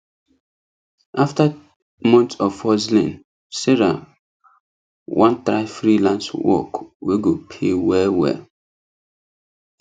after months of hustling sarah wan try freelance work wey go pay well well